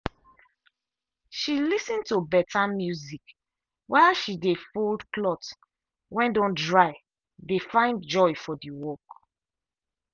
she lis ten to beta music while she dey fold cloth when don dry dey find joy for the work.